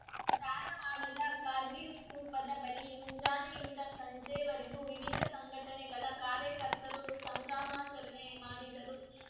ಧಾರವಾಡದ ಕಾರ್ಗಿಲ್‌ ಸ್ಥೂಪದ ಬಳಿ ಮುಂಜಾನೆಯಿಂದ ಸಂಜೆವರೆಗೂ ವಿವಿಧ ಸಂಘಟನೆಗಳ ಕಾರ್ಯಕರ್ತರು ಸಂಭ್ರಮಾಚರಣೆ ಮಾಡಿದರು